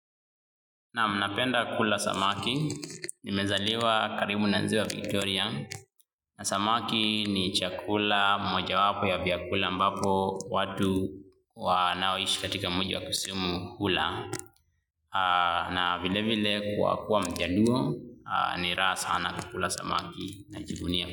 Naam, napenda kula samaki, nimezaliwa karibu na ziwa Victoria, na samaki ni chakula moja wapo ya vyakula ambavyo watu wanaoishi katika mji wa Kisumu hula, na vile vile kuwa kuwa mjaluo. Ni raha sana kula samaki. Najivunia.